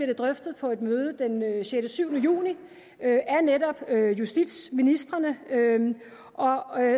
det drøftet på et møde den sjette syv juni af netop justitsministrene og